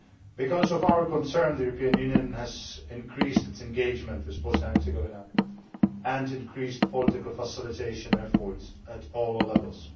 Because of our concerns, the European Union has increased its engagement with Bosnia and Herzegovina and increased political facilitation efforts at all levels.